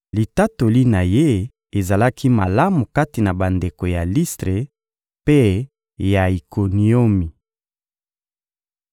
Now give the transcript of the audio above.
Litatoli na ye ezalaki malamu kati na bandeko ya Listre mpe ya Ikoniomi.